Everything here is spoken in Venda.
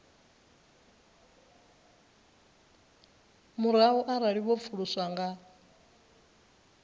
murahu arali vho pfuluswa nga